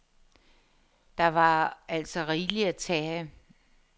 Der var altså rigeligt at tage af.